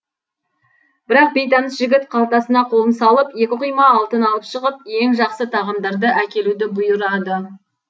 бірақ бейтаныс жігіт қалтасына қолын салып екі құйма алтын алып шығып ең жақсы тағамдарды әкелуді бұйырады